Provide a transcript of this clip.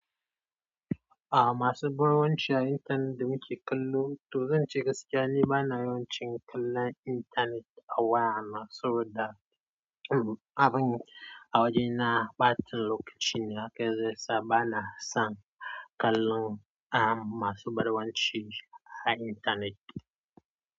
A'a masu bar gwance a intanet da muke kallo, to zan ce gaskiya ne bana yawan cin kallon intanet a waya na saboda, hmm abin a wajena ɓatan lokacin hakan zai sa bana son kallon am masu barwanci a intanet.